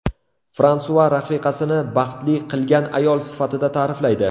Fransua rafiqasini baxtli qilgan ayol sifatida ta’riflaydi.